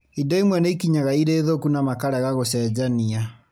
Indo imwe nĩ ikinyaga irĩ thũku na makarega gũcenjania